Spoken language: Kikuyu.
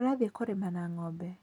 Tũrathiĩ kũrĩma na ng'ombe.